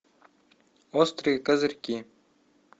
острые козырьки